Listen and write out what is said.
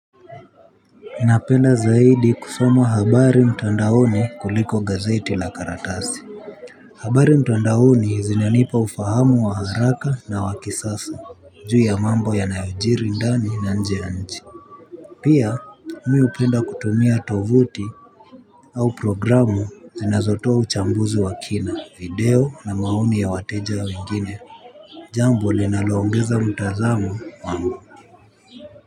Napenda zaidi kusoma habari mtandaoni kuliko gazeti la karatasi. Habari mtandaoni zinanipa ufahamu wa haraka na wa kisasa. Juu ya mambo ya yanayojiri ndani na nje ya nchi. Pia mi hupenda kutumia tovuti au programu zinazotoa uchambuzi wa kina video na maoni ya wateja wengine. Jambo linaloongeza mtazamo wangu.